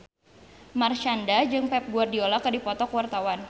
Marshanda jeung Pep Guardiola keur dipoto ku wartawan